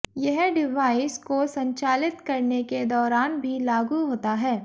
यह डिवाइस को संचालित करने के दौरान भी लागू होता है